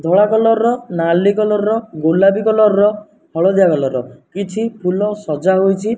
ଧଳା କଲର୍ ର ନାଲି କଲର୍ ର ଗୋଲାପି କଲର୍ ର ହଳଦିଆ କଲର୍ ର କିଛି ଫୁଲ ସଜାଇହୋଇଚି।